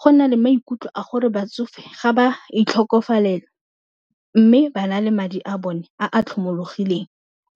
Go na le maikutlo a gore batsofe ga ba itlhokofalela mme ba na le madi a bone a a tlhomologileng